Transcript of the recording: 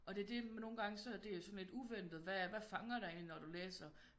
Og det er det nogle gange så er det sådan lidt uventet hvad fanger dig egentlig når du læser